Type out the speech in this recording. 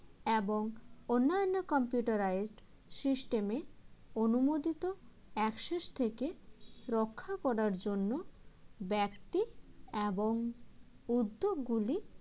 এবং অন্যান্য computerized system এ অনুমোদিত access থেকে রক্ষা করার জন্য ব্যক্তি এবং উদ্যোগগুলি